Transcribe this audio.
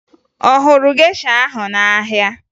Ọ hụrụ gesha ahụ n'ahịa?